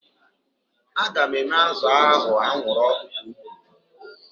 Aga m eme azụ ahu anwụrụ ọkụ ka o kwuru